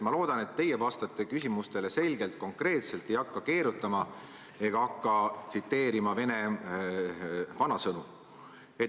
Ma loodan, et teie vastate küsimustele selgelt, konkreetselt, ei hakka keerutama ega hakka tsiteerima vene vanasõnu.